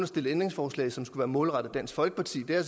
stillet ændringsforslag som skulle være målrettet dansk folkeparti og det er